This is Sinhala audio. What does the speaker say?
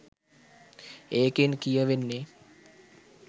ඒකෙන් කියවෙන්නේ